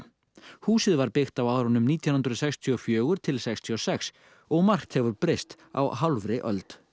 húsið var byggt á árunum nítján hundruð sextíu og fjögur til sextíu og sex og margt hefur breyst á hálfri öld